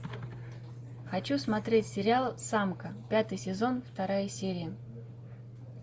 хочу смотреть сериал самка пятый сезон вторая серия